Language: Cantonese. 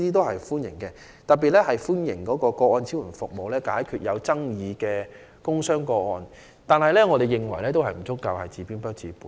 我們特別歡迎個案支援服務，因為能夠解決有爭議的工傷個案，但我們認為仍然不足，因為是治標不治本的。